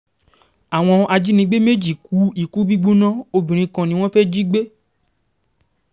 àwọn ajínigbé méjì kú ìkùúgbóná obìnrin kan ni wọ́n fẹ́ẹ́ jí gbé